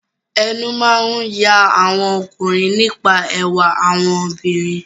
Ẹnu máa ń ya àwọn ọkùnrin nípa ẹwà àwọn obìnrin.